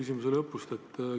Aitäh!